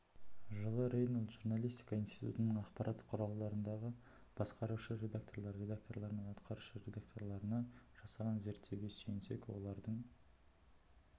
жылы рейнолд журналистика институтының ақпарат құралдарындағы басқарушы редакторлар редакторлар мен атқарушы редакторларына жасаған зерттеуге сүйенсек олардың